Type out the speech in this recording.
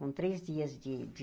Com três dias de